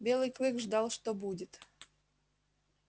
белый клык ждал что будет